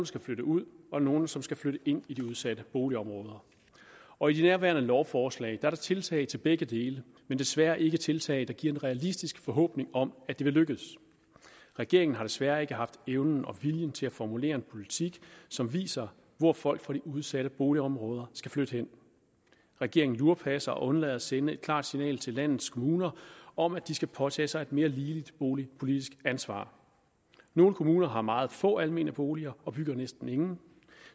skal flytte ud og nogle som skal flytte ind i de udsatte boligområder og i nærværende lovforslag er der tiltag til begge dele men desværre ikke tiltag som giver en realistisk forhåbning om at det vil lykkes regeringen har desværre ikke haft evnen og viljen til at formulere en politik som viser hvor folk fra de udsatte boligområder skal flytte hen regeringen lurepasser og undlader at sende et klart signal til landets kommuner om at de skal påtage sig et mere ligeligt boligpolitisk ansvar nogle kommuner har meget få almene boliger og bygger næsten ingen og